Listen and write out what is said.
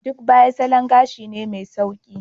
Duk Baya salon gashi ne mai sauƙi.